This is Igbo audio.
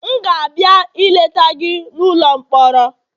M ga-abịa ileta gị n'ụlọ mkpọrọ